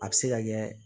A bɛ se ka kɛ